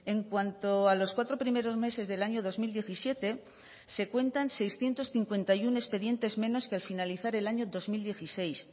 en cuanto a los cuatro primeros meses del año dos mil diecisiete se cuentan seiscientos cincuenta y uno expedientes menos que al finalizar el año dos mil dieciséis